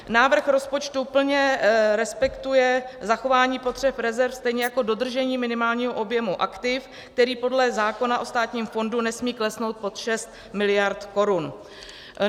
Návrh rozpočtu plně respektuje zachování potřeb rezerv stejně jako dodržení minimálního objemu aktiv, který podle zákona o Státním fondu nesmí klesnout pod 6 mld. korun.